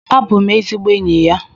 Abụ m ezigbo enyi ya.